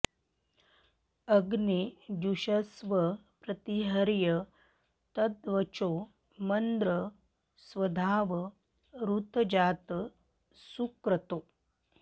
अग्ने जुषस्व प्रति हर्य तद्वचो मन्द्र स्वधाव ऋतजात सुक्रतो